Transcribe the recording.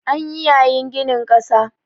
An yi yayin ginin ƙasa